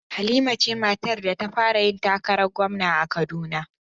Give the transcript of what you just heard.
Halima ce matar da ta fara yin takarar gwamna a Kaduna